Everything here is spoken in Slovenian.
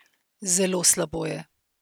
Zelo slabo je.